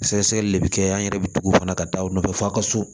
Sɛgɛsɛgɛli le bɛ kɛ an yɛrɛ bɛ tugu u fana ka taa u nɔfɛ f'a ka so